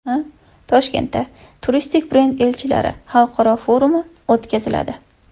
Toshkentda turistik brend elchilari xalqaro forumi o‘tkaziladi.